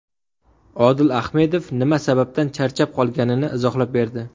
Odil Ahmedov nima sababdan charchab qolganini izohlab berdi.